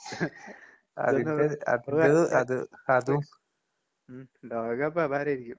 ഉം ലോകകപ്പപാരേരിക്കും.